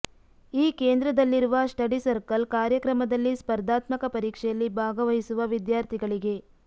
ಈ ಕೇಂದ್ರದಲ್ಲಿರುವ study circle ಕಾರ್ಯಕ್ರಮದಲ್ಲಿ ಸ್ಪರ್ದಾತ್ಮಕ ಪರೀಕ್ಷೆಯಲ್ಲಿ ಭಾಗವಹಿಸುವ ವಿದ್ಯಾರ್ಥಿಗಳಿಗೆ